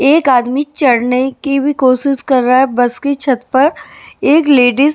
एक आदमी चढ़ने की भी कोशिश कर रहा है बस की छत पर एक लेडीज --